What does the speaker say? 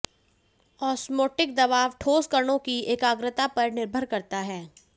osmotic दबाव ठोस कणों की एकाग्रता पर निर्भर करता है